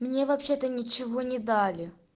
мне вообще-то ничего не дали